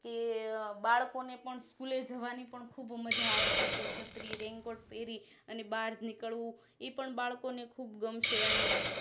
અને તે બાળકો ને School માં જવાની પણ ખુબ મજા આવશે કે છત્રી Raincoat પેરી અને બાર નીકળવું ઈ પણ બાળકોને ખુબ ગમશે અને